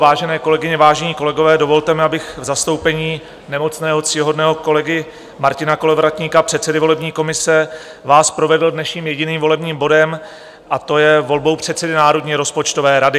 Vážené kolegyně, vážení kolegové, dovolte mi, abych v zastoupení nemocného ctihodného kolegy Martina Kolovratníka, předsedy volební komise, vás provedl dnešním jediným volebním bodem, a to je volbou předsedy Národní rozpočtové rady.